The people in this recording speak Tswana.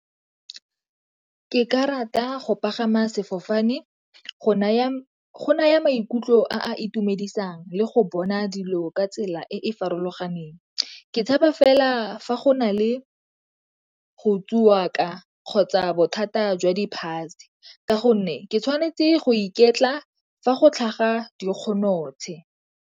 Ke ka rata go pagama sefofane, go naya maikutlo a itumedisang le go bona dilo ka tsela e e farologaneng. Ke tshepa fela fa go na le go ka kgotsa bothata jwa di ka gonne ke tshwanetse go iketla fa go tlhaga di .